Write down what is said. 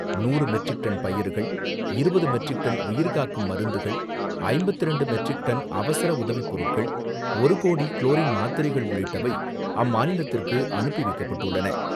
நூறு metric ton பயறுகள், இருபது மெட்ரிக் டன் உயிர் காக்கும் மருந்துகள், ஐம்பத்தி இரண்டு மெட்ரிக் டன் அவசர உதவிப்பொருட்கள், ஒரு கோடி குளோரின் மாத்திரைகள் உள்ளிட்டவை அம்மாநிலத்திற்கு அனுப்பி வைக்கப்பட்டுள்ளன.